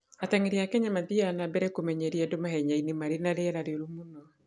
Ateng'eri a Kenya mathiaga na mbere kũmenyeria andũ mahenya-inĩ marĩ na rĩera rĩũru mũno.